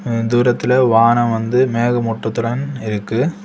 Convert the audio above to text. அ தூரத்தில் வானம் வந்து மேகமூட்டத்துடன் இருக்கு.